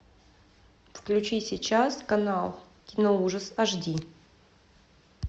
включи сейчас канал киноужас аш ди